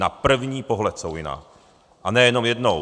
Na první pohled jsou jiná, a ne jenom jednou.